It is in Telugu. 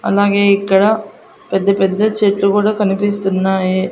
అలాగే ఇక్కడ పెద్ద పెద్ద చెట్టు గుడా కనిపిస్తున్నాయి.